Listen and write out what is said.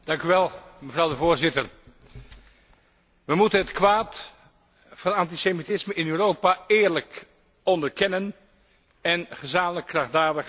Voorzitter, wij moeten het kwaad van het antisemitisme in Europa eerlijk onderkennen en gezamenlijk krachtdadig bestrijden.